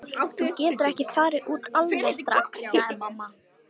Þú getur ekki farið út alveg strax, sagði mamma.